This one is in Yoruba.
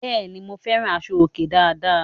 Bẹ́ẹ̀ ni, mo fẹ́ràn aṣọ-òkè dáadáa.